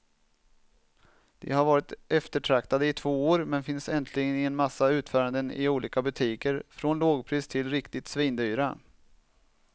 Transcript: De har varit eftertraktade i två år, men finns äntligen i en massa utföranden i olika butiker från lågpris till riktigt svindyra.